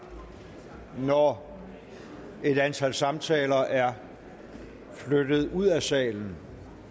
når et antal samtaler er flyttet ud af salen